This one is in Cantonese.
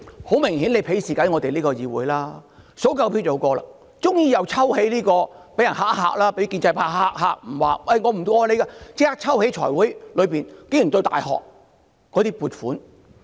很明顯，現在便是鄙視議會，數夠票便可以通過，只要被建制派嚇唬一下說不支持通過時，便立即在財務委員會抽起有關大學的撥款。